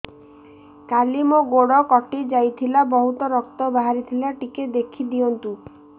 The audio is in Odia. କାଲି ମୋ ଗୋଡ଼ କଟି ଯାଇଥିଲା ବହୁତ ରକ୍ତ ବାହାରି ଥିଲା ଟିକେ ଦେଖି ଦିଅନ୍ତୁ